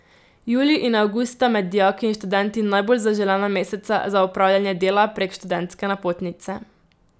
Julij in avgust sta med dijaki in študenti najbolj zaželena meseca za opravljanje dela prek študentske napotnice.